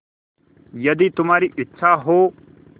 यदि तुम्हारी इच्छा हो